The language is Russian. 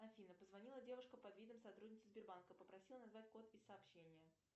афина позвонила девушка под видом сотрудницы сбербанка попросила назвать код из сообщения